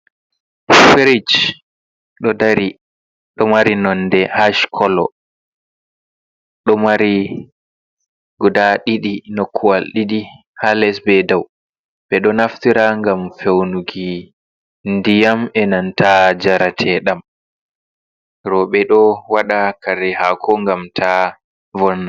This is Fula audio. Firij ɗo mari nonde hash kolo, ɗomari nokkuwal ɗiɗi ha les be ha dau, ɓeɗo naftira ngam feunuki ndiyam, enanta jarateɗam robe ɗo waɗa kare hako ngam ta vonna.